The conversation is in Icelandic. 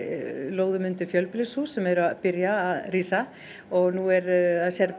lóðir undir fjölbýlishús sem eru að byrja að rísa og nú eru